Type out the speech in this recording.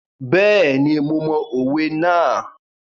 Bẹ́ẹ̀ni, mo mọ òwe náà.